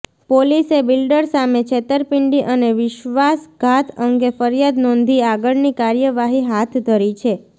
પોલીસે બિલ્ડર સામે છેતરપીંડી અને વિશ્ર્વાસઘાત અંગે ફરિયાદ નોંધી આગળની કાર્યવાહી હાથ ધરી છે